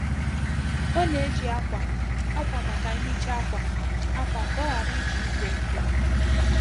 Ọ na-eji akwa akwa maka nhicha akwa akwa ka ọ ghara iji igwe nkụ.